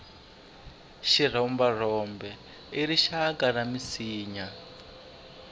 xirhomberhombe i rixaka ra minsinya